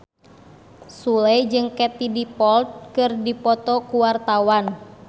Sule jeung Katie Dippold keur dipoto ku wartawan